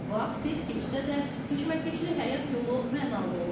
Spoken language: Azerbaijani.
Vaxt tez keçsə də, keşməkeşli həyat yolu mənalı olub.